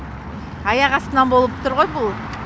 аяқ астынан болып тұр ғой бұл